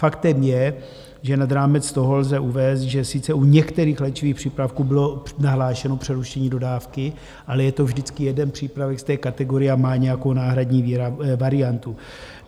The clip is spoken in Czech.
Faktem je, že nad rámec toho lze uvést, že sice u některých léčivých přípravků bylo nahlášeno přerušení dodávky, ale je to vždycky jeden přípravek z té kategorie a má nějakou náhradní variantu.